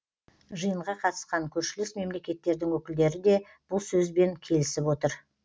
жиынға қатысқан көршілес мемлекеттердің өкілдері де бұл сөзбен келісіп отыр